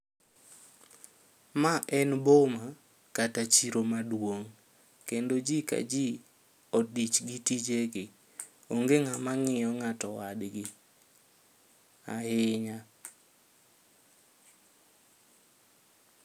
Ma en boma kata chiro maduong' kendo jii ka jii odich gi tijegi onge ng'ama ng'iyo ng'ato wadgi ahinya